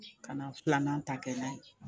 Ka na filanan ta kɛ n'a ye